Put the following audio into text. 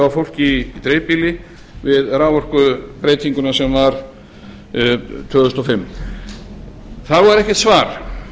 fólki í dreifbýli við raforkubreytinguna sem var tvö þúsund og fimm þá var ekkert svar